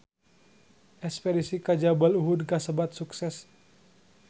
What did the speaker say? Espedisi ka Jabal Uhud kasebat sukses